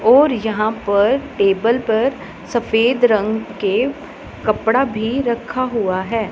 और यहां पर टेबल पर सफेद रंग के कपड़ा भी रखा हुआ है।